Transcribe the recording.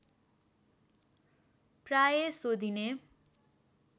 प्राय सोधिने